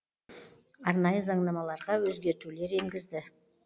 арнайы заңнамаларға өзгертулер енгізді